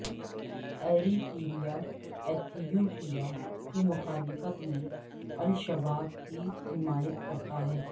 Eritrea Ethiopia کی مخالفت میں الشباب کی حمایت کرتا ہے